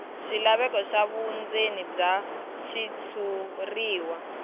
swilaveko swa vundzeni bya xitshuriwa